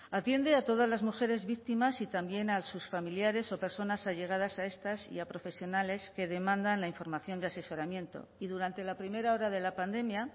atiende a todas las mujeres víctimas y también a sus familiares o personas allegadas a estas y a profesionales que demandan la información de asesoramiento y durante la primera hora de la pandemia